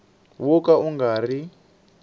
wo ka wu nga ri